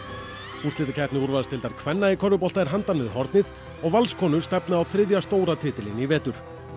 úrslitakeppni úrvalsdeildar kvenna í körfubolta er handan við hornið og Valskonur stefna á þriðja stóra titilinn í vetur